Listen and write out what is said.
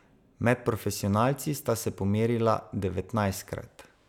Med profesionalci sta se pomerila devetnajstkrat.